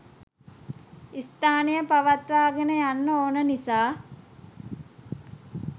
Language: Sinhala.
ස්ථානය පවත්වාගෙන යන්න ඕන නිසා